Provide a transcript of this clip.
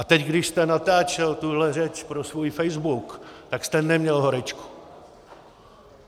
A teď, když jste natáčel tuhle řeč pro svůj facebook, tak jste neměl horečku.